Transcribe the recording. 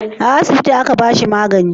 a asibiti a ka bashi magani?